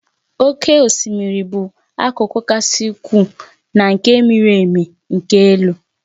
Oké osimiri bụ akụkụ kasị ukwuu na nke miri emi nke elu.